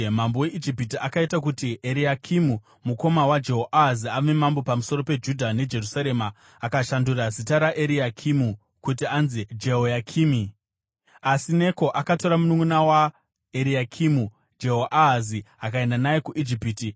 Mambo weIjipiti akaita kuti Eriakimu, mukoma waJehoahazi, ave mambo pamusoro peJudha neJerusarema akashandura zita raEriakimi kuti anzi Jehoyakimi. Asi Neko akatora mununʼuna waEriakimi, Jehoahazi, akaenda naye kuIjipiti.